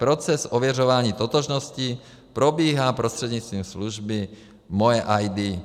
Proces ověřování totožnosti probíhá prostřednictvím služby MojeID.